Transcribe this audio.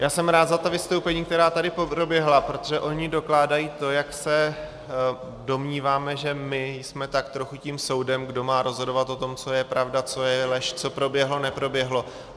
Já jsem rád za ta vystoupení, která tady proběhla, protože ona dokládají to, jak se domníváme, že my jsme tak trochu tím soudem, kdo má rozhodovat o tom, co je pravda, co je lež, co proběhlo, neproběhlo.